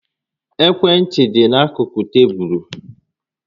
Ekwe ntị dị n'akụkụ tébulu